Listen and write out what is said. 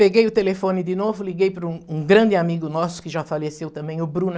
Peguei o telefone de novo, liguei para um um grande amigo nosso, que já faleceu também, o Bruno.